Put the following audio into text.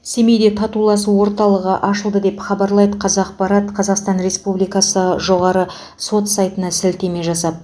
семейде татуласу орталығы ашылды деп хабарлайды қазақпарат қазақстан республикасы жоғары сот сайтына сілтеме жасап